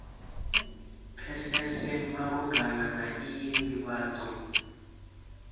pfesese malugana na iyi nḓivhadzo